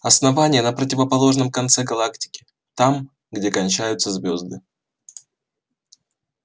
основание на противоположном конце галактики там где кончаются звёзды